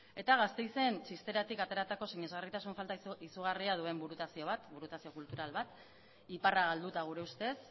eta gasteizen txisteratik ateratako sinesgarritasun falta izugarria duen burutazio bat burutazio kultural bat iparra galduta gure ustez